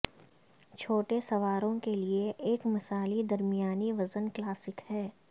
چھوٹے سواروں کے لئے یہ ایک مثالی درمیانی وزن کلاسک ہے